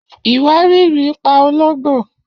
Iwariiri pa ològbó.